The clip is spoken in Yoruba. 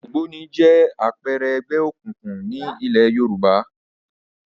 Ògbóni jẹ́ àpẹẹrẹ ẹgbẹ́ òkùnkùn ní ilẹ̀ Yorùbá